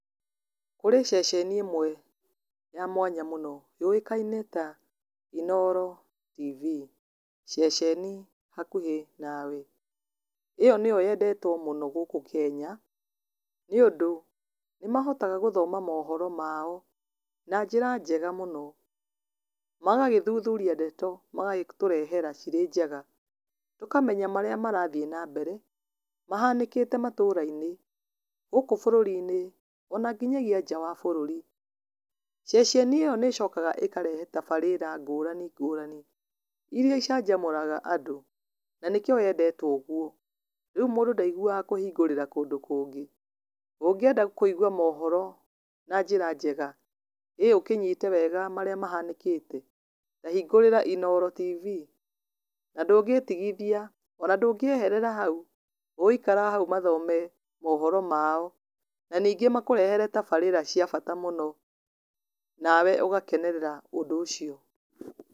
Kũrĩ ceceni ĩmwe ya mwanya mũno yũĩkaine ta Inooro TV ceceni hakuhĩ nawe. ĩyo nĩyo yendetwo mũno gũkũ Kenya, nĩ ũndũ, nĩ mahotaga gũthoma mohoro mao na njĩra njega mũno. Magagĩthuthuria ndeto, magagĩtũrehera cirĩ njega. Tũkamenya marĩa marathiĩ na mbere, mahanĩkĩte matũũra-inĩ, gũkũ bũrũri-inĩ, ona nginyagia nja wa bũrũri. Ceceni ĩyo nĩ ĩcokaga ĩkarehe tabarĩra ngũrani ngũrani, irĩa icanjamũraga andũ. Na nĩkĩo yendetwo ũguo. Rĩu mũndũ ndaiguaga kũhingũrĩra kũndũ kũngĩ. Ũngĩenda kũigua mohoro na njĩra njega, ĩĩ ũkĩnyite wega marĩa mahanĩkĩte, ta hingũrĩra Inooro TV, na ndũngĩtigithia, ona ndũngĩeherera hau. Ũgũikara hau mathome mohoro mao, na ningĩ makũrehere tabarĩa cia bata mũno. Nawe ũgakenerera ũndũ ũcio.